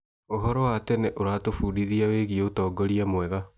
ũhoro wa tene ũratũbundithia wĩgiĩ ũtongoria mwega.